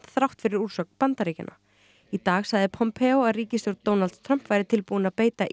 þrátt fyrir úrsögn Bandaríkjanna í dag sagði að ríkisstjórn Donalds Trumps væri tilbúin að beita